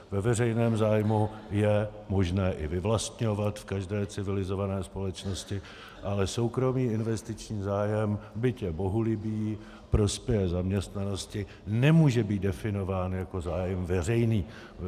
Ve veřejném zájmu je možné i vyvlastňovat v každé civilizované společnosti, ale soukromý investiční zájem, byť je bohulibý, prospěje zaměstnanosti, nemůže být definován jako zájem veřejný.